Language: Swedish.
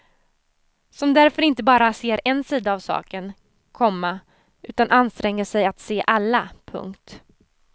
Som därför inte bara ser en sida av saken, komma utan anstränger sig att se alla. punkt